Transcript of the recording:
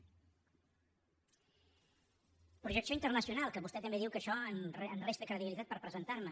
projecció internacional que vostè també diu que això em resta credibilitat per presentarme